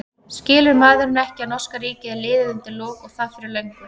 Skilur maðurinn ekki að norska ríkið er liðið undir lok og það fyrir löngu?